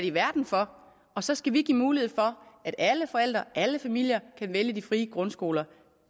i verden for og så skal vi give mulighed for at alle forældre alle familier kan vælge de frie grundskoler